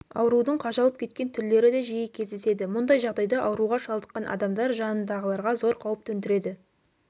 аурудың қажалып кеткен түрлері де жиі кездеседі мұндай жағдайда ауруға шалдыққан адамдар жанындағыларға зор қауіп төндіреді